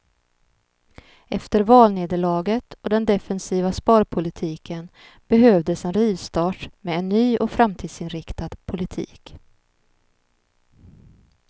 Efter valnederlaget och den defensiva sparpolitiken behövdes en rivstart med en ny och framtidsinriktad politik.